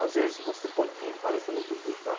Às vezes você podia entrar, às vezes você não podia entrar.